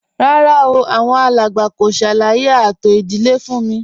Rárá o, àwọn alàgbà kò ṣàlàyé ààtò ìdílé fún m